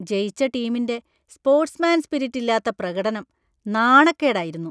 ജയിച്ച ടീമിന്‍റെ സ്പോര്‍ട്സ്മാന്‍സ്പിരിറ്റില്ലാത്ത പ്രകടനം നാണക്കേടായിരുന്നു.